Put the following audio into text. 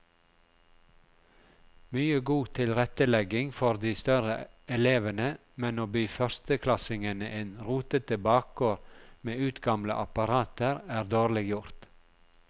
Mye god tilrettelegging for de større elevene, men å by førsteklassingene en rotete bakgård med utgamle apparater er dårlig gjort.